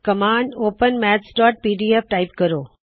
command open mathsਪੀਡੀਐਫ type ਕਰੋ